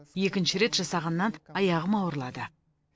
екінші рет жасағаннан аяғым ауырлады